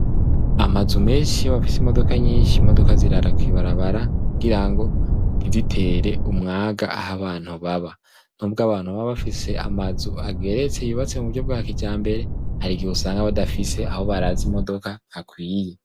Amazu menshi afise imodoka nyinshi imodoka zirara kw'ibarabara kugira ngo ntizitere umwaga aho abantu baba nubwo abantu baba bafise amazu ageretse yubatse mu buryo bwa kijambere hari igihe usanga badafise aho baraza imodoka hakwiye.